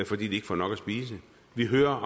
fordi de ikke får nok at spise vi hører